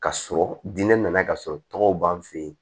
Ka sɔrɔ diinɛ nana ka sɔrɔ tɔgɔw b'an fɛ yen